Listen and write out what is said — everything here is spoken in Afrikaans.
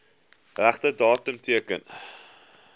regte datum teken